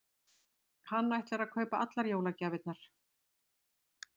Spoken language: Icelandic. Hann ætlar að kaupa allar jólagjafirnar.